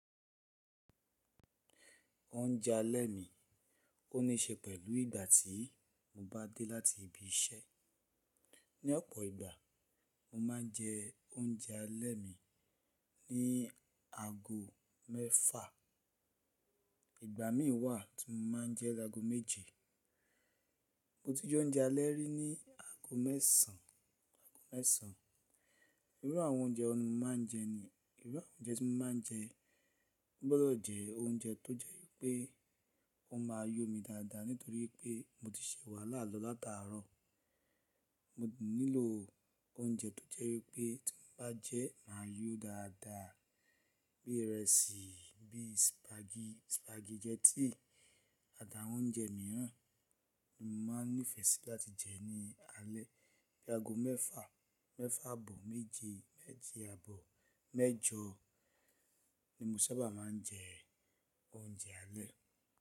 Oúnjẹ alẹ́ mi ó níí ṣe pẹ̀lú ìgbà tí mo bá dé láti ibi iṣẹ́. Ni ọ̀pọ̀ ìgbà, mo máa ń jẹ oúnjẹ alẹ́ mi ní ago mẹ́fa. Ìgbà mìí wà tí mo máa ń jẹ ẹ́ lọ́go méje. Mo ti jẹ oúnjẹ alẹ́ rí ní ago mẹ́sàn án. Irú àwọn oúnjẹ wọ ni mo máa ń jẹ ni? Irú àwọn oúnjẹ tí mo máa ń jẹ, o gbọdọ̀ jẹ oúnjẹ tó jẹ́ wípé ó máa yọ mí dáadáa nítorí pé mo ti ṣe wàhálà lọ lát'àárọ̀. Mo nílò oúnjẹ tó jẹ́ wípé tí mo bá jẹ ẹ́ máa yọ dáadáa bí ìrẹsì, bí spag, spaghetti àt'àwọn oúnjẹ mìíràn tí mo máa ń nífẹ̀ẹ́ sí láti jẹ ní alẹ́. Bí ago mẹ́fa, mẹ́fa àbọ̀ méje, méje àbọ̀ mẹ́jọ ni mo sábà máa ń jẹ oúnjẹ alẹ́.